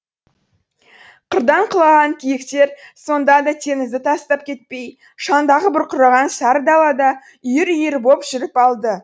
қырдан құлаған киіктер сонда да теңізді тастап кетпей шаңдағы бұрқыраған сары далада үйір үйір боп жүріп алды